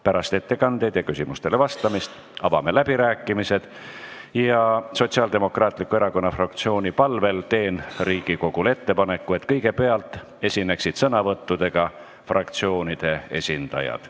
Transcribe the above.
Pärast ettekandeid ja küsimustele vastamist avame läbirääkimised ja Sotsiaaldemokraatliku Erakonna fraktsiooni palvel teen Riigikogule ettepaneku, et kõigepealt esineksid sõnavõttudega fraktsioonide esindajad.